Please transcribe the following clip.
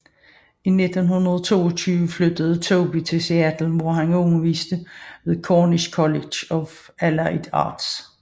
I 1922 flyttede Tobey til Seattle hvor han underviste ved Cornish College of Allied Arts